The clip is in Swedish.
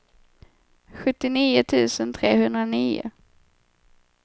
sjuttionio tusen trehundranio